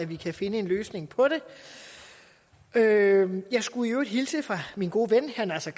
vi kan finde en løsning på det jeg skulle i øvrigt hilse fra min gode ven herre naser